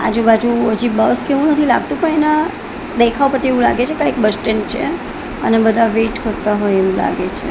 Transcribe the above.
આજુબાજુ અજી બસ કે એવું નથી લાગતું પણ એના દેખાવ ઉપરથી એવું લાગે છે કંઈક બસ સ્ટેન્ડ છે અને બધા વેટ કરતા હોય એવું લાગે છે.